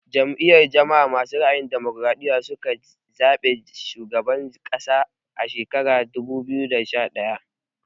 Jam'iyar jama'a masu ra'ayin damokaraɗiya su ka ci zaɓen shugaban ƙasa a shekara ta dubu biyu da sha ɗaya